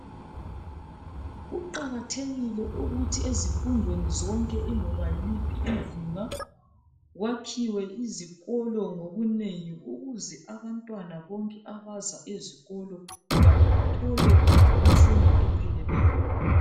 Kuqakathekile ukuthi ezifundweni zonke iloba yiliphi izinga. Kwakhiwe izikolo ngobunengi ukuze abantwana bonke abaza ezikolo bathole infundo epheleleyo.